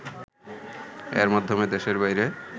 এর মাধ্যমে দেশের বাইরে